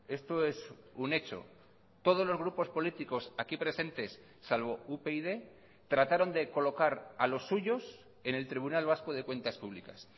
esto es un hecho todos los grupos políticos aquí presentes salvo upyd trataron de colocar a los suyos en el tribunal vasco de cuentas públicas